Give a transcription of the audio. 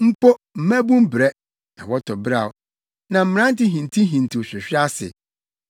Mpo, mmabun brɛ, na wɔtɔ beraw, na mmerante hintihintiw hwehwe ase;